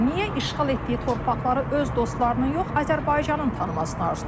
Niyə işğal etdiyi torpaqları öz dostlarının yox, Azərbaycanın tanımasını arzulayır?